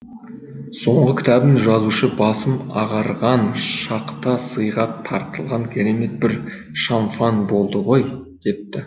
соңғы кітабын жазушы басым ағарған шақта сыйға тартылған керемет бір шамфан болды ғой депті